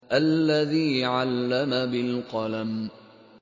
الَّذِي عَلَّمَ بِالْقَلَمِ